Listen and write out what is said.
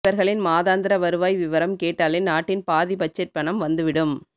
இவர்களின் மாதாந்திர வருவாய் விவரம் கேட்டாலே நாட்டின் பாதி பட்ஜெட் பணம் வந்துவிடும்